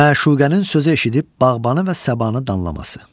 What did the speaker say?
Məşuqənin sözü eşidib bağbanı və səbanı danlaması.